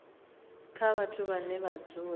kha vhathu vhane vha dzula